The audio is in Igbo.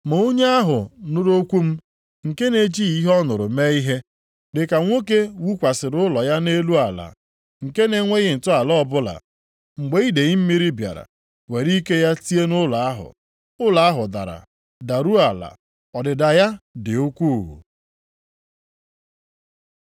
Ma onye ahụ nụrụ okwu m, nke na-ejighị ihe ọ nụrụ mee ihe, dị ka nwoke wukwasịrị ụlọ ya nʼelu ala, nke na-enweghị ntọala ọbụla. Mgbe idee mmiri bịara were ike ya tie nʼụlọ ahụ, ụlọ ahụ dara daruo ala, ọdịda ya dị ukwuu.”